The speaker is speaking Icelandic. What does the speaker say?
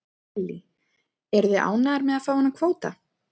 Lillý: Eruð þið ánægðir með að fá þennan kvóta?